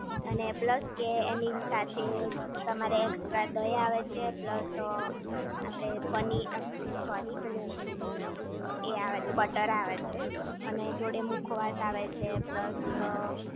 અને પ્લસ કે એની સાથે તમારે એક્સ્ટ્રા દહીં આવે છે પ્લસ આપણે પનીર સોરી પેલું એ આવે છે બટર આવે છે અને જોડે મુખવાસ આવે છે પ્લસ